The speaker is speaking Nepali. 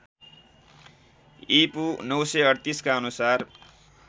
ईपू ९३८ का अनुसार